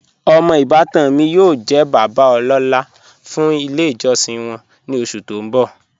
Omọ ibàtan mi yóò jẹ̀ bàbá ọlọ́la fún ilẹ̀ ijọsin wọn ni oṣù tó n bọ́.